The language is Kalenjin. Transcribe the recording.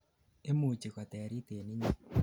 imuchi koterit en inyei